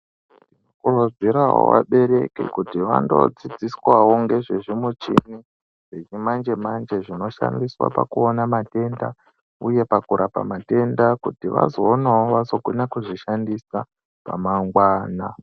Tinokurudzirawo vabereki kuti vandodzidziswawo ngezvezvimuchini zvechimanje manje zvinoshandiswa pakuona matenda uye pakurapa matenda kuti vazoonao vazokona kuzvishandisa ramangwana.